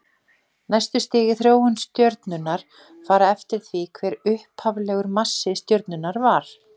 Næstu stig í þróun stjörnunnar fara eftir því hver upphaflegur massi stjörnunnar var.